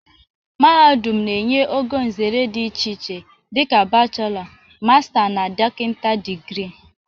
Mahadum na-enye ogo nzere dị iche iche dị ka bachelọ, masta na dọkịta digirii.